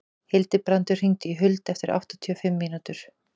Hildibrandur, hringdu í Huld eftir áttatíu og fimm mínútur.